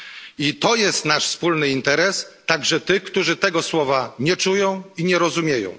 I to jest nasz wspólny interes także tych, którzy tego słowa nie czują i nie rozumieją.